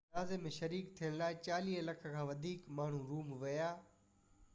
جنازي ۾ شريڪ ٿيڻ لاءِ چاليهہ لک کان وڌيڪ ماڻهو روم ويا